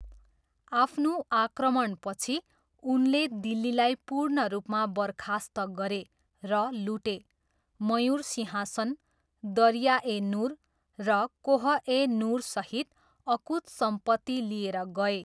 आफ्नो आक्रमणपछि, उनले दिल्लीलाई पूर्ण रूपमा बर्खास्त गरे र लुटे, मयुर सिंहासन, दरिया ए नुर, र कोह ए नुरसहित अकुत सम्पत्ति लिएर गए।